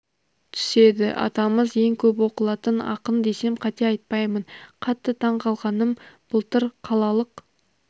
түседі атамыз ең көп оқылатын ақын десем қате айтпаймын қатты таң қалғаным былтыр қалалық